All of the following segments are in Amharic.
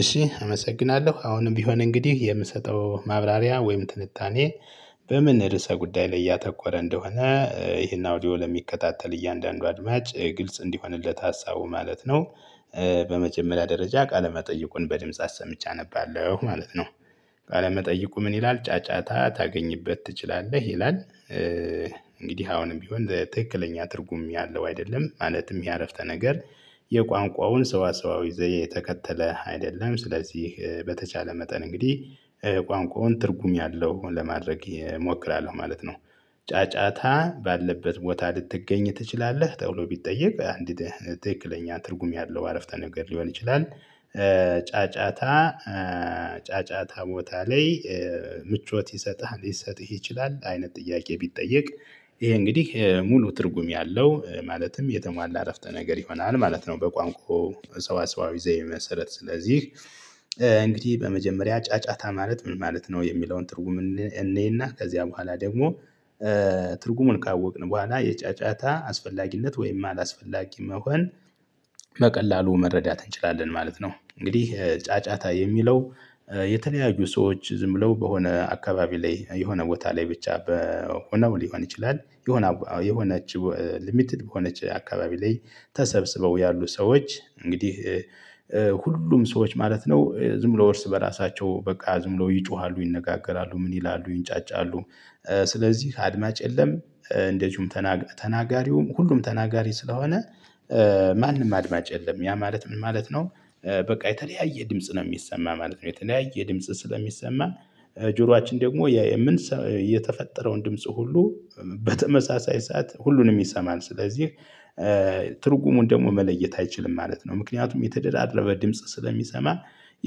እሺ አመሰግናለሁ አሁንም ቢሆን እንግዲህ የምሰጠው ማብራሪያ ወይም ትንታኔ በምን ርዕሰ ጉዳይ ላይ ያተኮረ እንደሆነ ይሄን አውዲዮ ለሚከታተል እያንዳንዱ አድማጭ ግልጽ እንዲሆንለት ሀሳቡ ማለት ነው። በመጀመሪያ ደረጃ ቃለመጠየቁን በድምጽ አሰምቼ አነባለሁ ማለት ነው። ቃለመጠይቁ ምን ይላል ጫጫታ ታገኝበት ትችላለህ? ይላል። እንግዲህ አሁንም ቢሆን ትክክለኛ ትርጉም ያለው አይደለም ማለትም ያአረፍተ ነገር። የቋንቋውን ሰዋሰዋዊ ዘይቤ የተከተለ አይደለም። ስለዚህ በተቻለ መጠን እንግዲህ ቋንቋውን ትርጉም ያለው ለማድረግ እሞክራለሁ ማለት ነው። ጫጫታ ባለበት ቦታ ልትገኝ ትችላለህ ተብሎ ቢጠየቅ አንግዲህ ትክክለኛ ትርጉም ያለው አረፍተ ነገር ሊሆን ይችላል። ጫጫታ ጫጫታ ቦታ ላይ ምቾት ይሰጥህ ሊሰጥህ ይችላል አይነት ጥያቄ ቢጠየቅ? ይሄ እንግዲህ ሙሉ ትርጉም ያለው ማለትም የተሟላ እረፍተ ነገር ይሆናል ማለት ነው። በቋንቋው ሰውሰዋዊ ዘይ መሰረት ስለዚህ እንግዲህ በመጀመሪያ ጫጫታ ማለት ምን ማለት ነው? የሚለውን ትርጉም እንይና ከዚያ በኋላ ደግሞ ትርጉሙን ካወቅን በኋላ የጫጫታ አስፈላጊነት ወይም አላስፈላጊ መሆን በቀላሉ መረዳት እንችላለን ማለት ነው። እንግዲህ ጫጫታ የሚለው የተለያዩ ሰዎች ዝም ብለው በሆነ አካባቢ ላይ የሆነ ቦታ ላይ ብቻ በሆነ ሊሆን ይችላል። የሆነ የሆነችው ሊሚትድ በሆነች አካባቢ ላይ ተሰብስበው ያሉ ሰዎች እንግዲህ ሁሉም ሰዎች ማለት ነው ዝም ብሎ እርስ በራሳቸው በቃ ዝምብለው ይጮሃሉ ይነጋገራሉ ምን ይላሉ ይንጫጫሉ። ስለዚህ አድማጭ የለም እንደዚሁም ተናጋሪውም ሁሉም ተናጋሪ ስለሆነ። ማንም አድማጭ የለም ያ ማለት ምን ማለት ነው? በቃ የተለያየ ድምጽ ነው የሚሰማ ማለት ነው። የተለያየ ድምጽ ስለሚሰማ ጆሮአችን ደግሞ የምን የተፈጠረውን ድምጽ ሁሉ በተመሳሳይ ሰዓት ሁሉንም ይሰማል ስለዚህ ትርጉሙን ደግሞ መለየት አይችልም ማለት ነው። ምክንያቱም የተደራደረበ ድምጽ ስለሚሰማ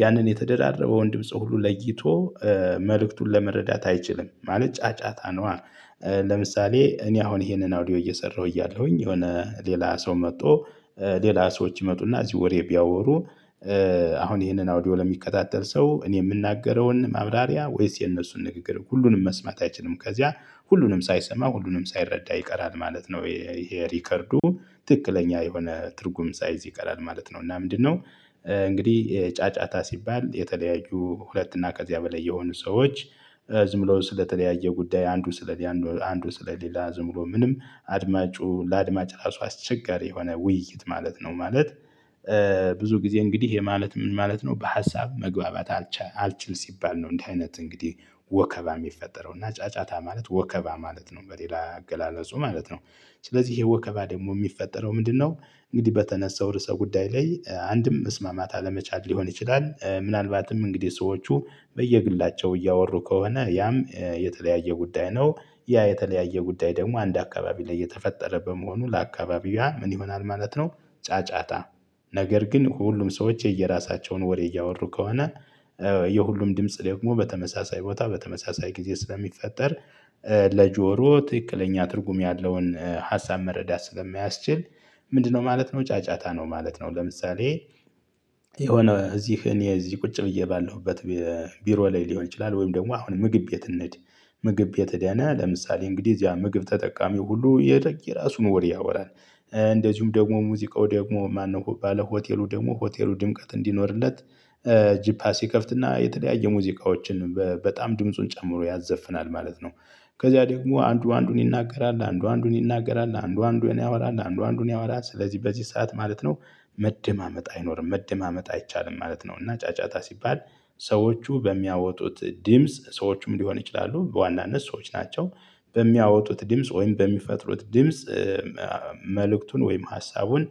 ያንን የተደራረበ ወንድምፁ ሁሉ ለይቶ መልእክቱን ለመረዳት አይችልም ማለት ጫጫታ ነው። ለምሳሌ እኔ አሁን ይሄንን አውዲዮ እየሰራሁ እያለሁኝ የሆነ ሌላ ሰው መጥቶ ሌላ ሰዎች ይመጡ አሰና እዚህ ወሬ ቢያወሩ። አሁን ይሄንን አውዲዮ ለሚከታተል ሰው እኔ የምናገረውን ማብራሪያ ወይስ የነሱን ንግግር ሁሉንም መስማት አይችልም። ከዚያ ሁሉንም ሳይሰማ ሁሉንም ሳይረዳ ይቀራል ማለት ነው። ይሄ ሪከርዱ ትክክለኛ የሆነ ትርጉም ሳይዝ ይቀራል ማለት ነው እና ምንድነው? እንግዲህ ጫጫታ ሲባል የተለያዩ ሁለት እና ከዚያ በላይ የሆኑ ሰዎች ዝም ብሎ ስለተለያየ ጉዳይ አንዱ ስለ አንዱ ስለ ሌላ ዝም ብሎ ምንም አድማጩ ለአድማጭ ራሱ አስቸጋሪ የሆነ ውይይት ማለት ነው። ማለት ብዙ ጊዜ እንግዲህ የህ ማለት ምን ማለት ነው? በሀሳብ መግባባት አልችል ሲባል ነው እንዲህ አይነት እንግዲህ ወከባ የሚፈጠረው እና ጫጫታ ማለት ወከባ ማለት ነው። በሌላ አገላለጹ ማለት ነው ስለዚህ ይሄ ወከባ ደግሞ የሚፈጠረው ምንድነው? እንግዲህ በተነሳው ርዕሰ ጉዳይ ላይ አንድም መስማማት አለመቻል ሊሆን ይችላል ምናልባትም እንግዲህ ሰዎቹ በየግላቸው እያወሩ ከሆነ ያም የተለያየ ጉዳይ ነው። ያ የተለያየ ጉዳይ ደግሞ አንድ አካባቢ ላይ የተፈጠረ በመሆኑ ለአካባቢዋ ምን ይሆናል ማለት ነው። ጫጫታ ነገር ግን ሁሉም ሰዎች የየራሳቸውን ወሬ እያወሩ ከሆነ የሁሉም ድምጽ ደግሞ በተመሳሳይ ቦታ በተመሳሳይ ጊዜ ስለሚፈጠር። ለጆሮ ትክክለኛ ትርጉም ያለውን ሀሳብ መረዳት ስለማያስችል ምንድነው ማለት ነው ጫጫታ ነው ማለት ነው። ለምሳሌ የሆነ እዚህን እኔ እዚህ ቁጭ ብዬ ባለሁበት ቢሮ ላይ ሊሆን ይችላል ወይም ደግሞ አሁን ምግብ የት እንሂድ? ምግብ ቤት ሄደን ለምሳሌ እንግዲህ እዚያ ምግብ ተጠቃሚ ሁሉ የራሱን ወሬ ያወራል። እንደዚሁም ደግሞ ሙዚቃው ደግሞ ማነው ባለ ሆቴሉ ደግሞ ሆቴሉ ድምቀት እንዲኖርለት ጂፓስ ይከፍትና የተለያየ ሙዚቃዎችን በጣም ድምጹን ጨምሮ ያዘፍናል ማለት ነው። ከዛ ደግሞ አንዱ አንዱን ይናገራል አንዱ አንዱን ይናገራል አንዱ አንዱን ያራል አንዱ አንዱን ያወራል ስለዚህ በዚህ ሰዓት ማለት ነው። መደማመጥ አይኖርም መደማመጥ አይቻልም ማለት ነው። እና ጫጫታ ሲባል ሰዎቹ በሚያወጡት ድምጽ ሰዎቹም ሊሆን ይችላሉ በዋናነት ሰዎች ናቸው። በሚያወጡት ድምጽ ወይም በሚፈጥሩት ድምጽ መልእክቱን ወይም ሀሳቡን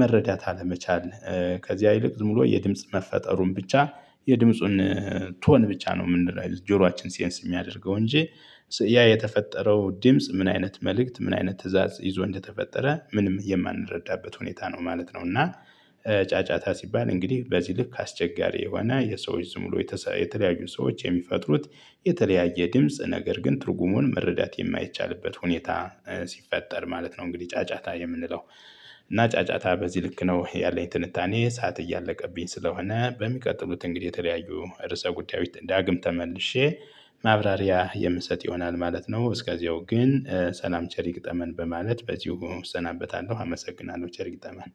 መረዳት አለመቻል ከዚያ ይልቅ ዝም ብሎ የድምጽ መፈጠሩን ብቻ የድምጹን ቶን ብቻ ነው የምንለው ጆሯችን ሴንስ የሚያደርገው እንጂ ያ የተፈጠረው ድምጽ ምን አይነት መልእክት ምን አይነት ትእዛዝ ይዞ እንደተፈጠረ ምንም የማንረዳበት ሁኔታ ነው ማለት ነው። እና ጫጫታ ሲባል እንግዲህ በዚህ ልክ አስቸጋሪ የሆነ የሰዎች ዝም ብሎ የተለያዩ ሰዎች የሚፈጥሩት የተለያየ ድምጽ ነገር ግን ትርጉሙን መረዳት የማይቻልበት ሁኔታ ሲፈጠር ማለት ነው። እንግዲህ ጫጫታ የምንለው እና ጫጫታ በዚህ ልክ ነው ያለኝ ትንታኔ። ሰዓት እያለቀብኝ ስለሆነ በሚቀጥሉት እንግዲህ የተለያዩ ርዕሰ ጉዳዮች ዳግም ተመልሼ ማብራሪያ የምሰጥ ይሆናል ማለት ነው። እስከዚያው ግን ሰላም ቸረ ይግጠመን በማለት በዚሁ እሰናበታለሁ። አመሰግናለሁ። ቸር ይግጠመን።